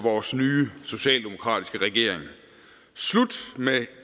vores nye socialdemokratiske regering slut med